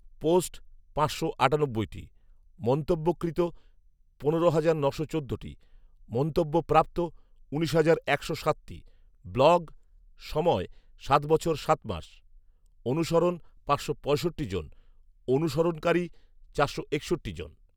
post পাঁচশো আটানব্বইটি, মন্তব্য কৃত পনেরো হাজার নশো চোদ্দটি, মন্তব্য প্রাপ্ত উনিশ হাজার একশো সাতটি, ব্লগ সময় সাত বছর সাত মাস, অনুসরণ পাঁচশো পঁয়ষট্টি জন, অনুসরণকারী চারশো একষট্টি জন